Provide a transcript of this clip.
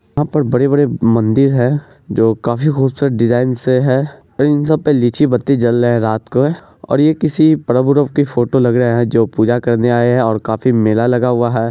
यहाँ पर बड़े-बड़े मंदिर है जो काफी खूबसूरत डिज़ाइन से है इन सब पे लीची बत्ती जल रहे है रात को और ये किसी पर्व-वर्व की फोटो लग रहे है जो पूजा करने आए है और काफी मेला लगा हुआ है।